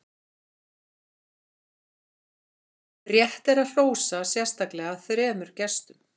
rétt er að hrósa sérstaklega þremur gestum